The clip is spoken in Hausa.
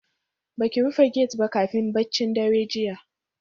Baki rufe gate ba kafin baccin daren jiya